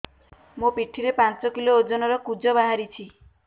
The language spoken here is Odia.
ମୋ ପିଠି ରେ ପାଞ୍ଚ କିଲୋ ଓଜନ ର କୁଜ ବାହାରିଛି